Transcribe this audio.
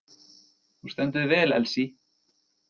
Þú stendur þig vel, Elsí!